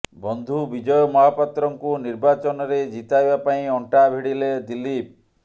ବନ୍ଧୁ ବିଜୟ ମହାପାତ୍ରଙ୍କୁ ନିର୍ବାଚନରେ ଜିତାଇବା ପାଇଁ ଅଣ୍ଟା ଭିଡ଼ିଲେ ଦିଲ୍ଲୀପ